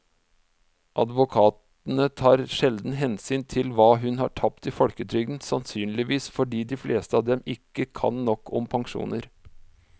Advokatene tar sjelden hensyn til hva hun har tapt i folketrygden, sannsynligvis fordi de fleste av dem ikke kan nok om pensjoner.